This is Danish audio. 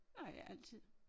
Nej ikke altid